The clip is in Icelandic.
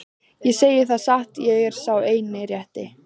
Ég segi það satt, ég er sá eini rétti.